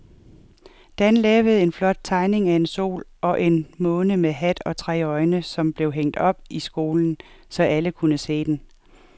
Dan havde lavet en flot tegning af en sol og en måne med hat og tre øjne, som blev hængt op i skolen, så alle kunne se den.